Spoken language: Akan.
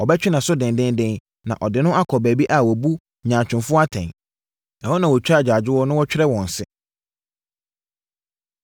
Ɔbɛtwe nʼaso denden, na ɔde no akɔ baabi a wɔbu nyaatwomfoɔ atɛn; ɛhɔ na wɔtwa agyaadwoɔ na wɔtwɛre wɔn se.